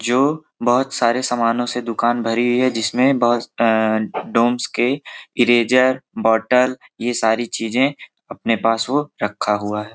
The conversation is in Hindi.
जो बहुत सारे समानो से दूकान भरी हुई हैं जिसमें डोम्स के इरेज़र बोतल ये सारी चीज़े अपने पास वह रखा हुआ है।